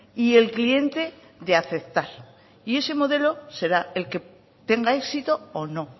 y el cliente de aceptar y ese modelo será el que tenga éxito o no